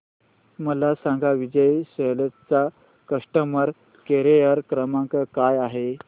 मला सांगा विजय सेल्स चा कस्टमर केअर क्रमांक काय आहे